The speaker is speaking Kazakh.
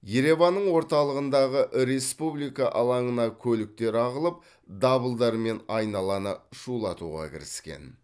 ереванның орталығындағы республика алаңына көліктер ағылып дабылдармен айналаны шулатуға кіріскен